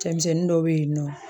Cɛmisɛnnin dɔ be yen nɔ